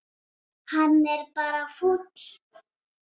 Hann er bara fúll.